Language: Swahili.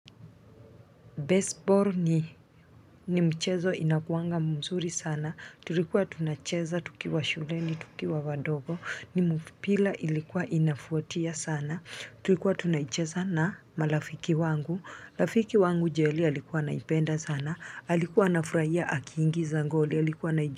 Baseball ni mchezo inakuanga mzuri sana tulikuwa tunacheza tukiwa shuleni tukiwa wadogo ni mpira ilikuwa inavutia sana tulikuwa tunaicheza na marafiki wangu rafiki wangu jeli alikuwa anaipenda sana alikuwa anafurahia akiingiza goli alikuwa anaijua.